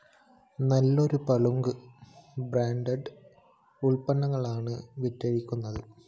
നല്ലൊരു പങ്കും ബ്രാൻഡ്‌ ഉല്പ്പന്നങ്ങളാണ് വിറ്റഴിയുന്നത്